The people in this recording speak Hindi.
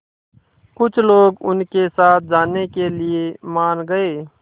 कुछ लोग उनके साथ जाने के लिए मान गए